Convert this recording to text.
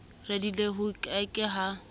radileng ho ke ke ha